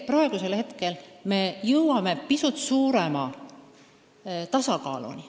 Nüüd me jõuame pisut suurema tasakaaluni.